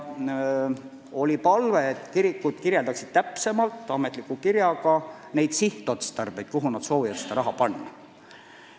Oli palve, et kirikud kirjeldaksid täpsemalt ametliku kirjaga neid sihtotstarbeid, milleks nad soovivad seda raha kulutada.